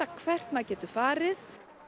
hvert maður getur farið